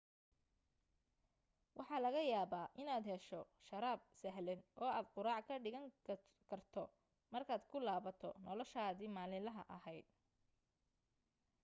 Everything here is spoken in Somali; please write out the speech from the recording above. waxa laga yaaba inaad hesho sharaab sahlan oo aad quraac ka dhigan karto markaad ku laabato noloshaadi maalilaha ahayd